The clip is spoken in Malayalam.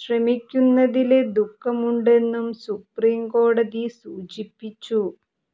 ശ്രമിക്കുന്നതില് ദുഃഖമുണ്ടെന്നും സുപ്രീം കോടതി സൂചിപ്പിച്ചു